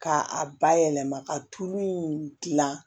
K'a bayɛlɛma ka tulu in dilan